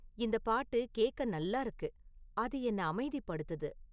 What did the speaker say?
இந்தப் பாட்டு கேக்க நல்லா இருக்கு, அது என்ன அமைதிப்படுத்துது